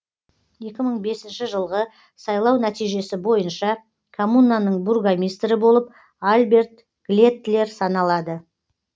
екі мың бесінші жылғы сайлау нәтижесі бойынша коммунаның бургомистрі болып альберт глеттлер саналады